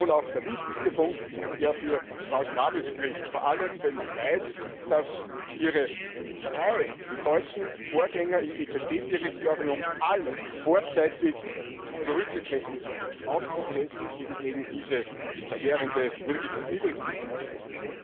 Und das ist wohl auch der wichtigste Punkt, der für Frau Schnabel spricht, vor allem, wenn man weiß, dass ihre drei deutschen Vorgänger im EZB Direktorium alle vorzeitig zurückgetreten sind aus Protest gegen eben diese verheerende Niedrigzinspolitik.